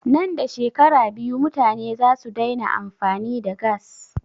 Nan da shekara biyu mutane zasu daina amfani da gass